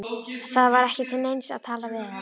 Það var ekki til neins að tala við hann.